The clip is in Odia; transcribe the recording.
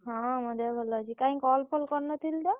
ହଁ ମୋ ଦେହ ଭଲ ଅଛି। କାଇଁ call ଫଲ କରିନଥିଲୁ ତ?